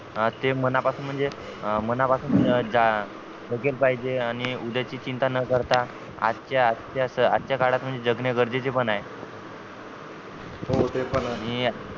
ते मना पासून म्हणजे मना पासून पाहिजे आणि उद्याची चिंता न करता आज च्या आज च्या काळात जगणे गरजेचे पण आहे हो ते पण आहे